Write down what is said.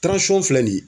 filɛ nin ye